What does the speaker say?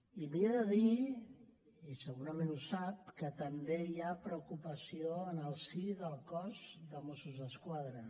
i li he de dir i segurament ho sap que també hi ha preocupació en el si del cos de mossos d’esquadra